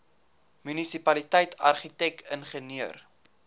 munisipaliteit argitek ingenieur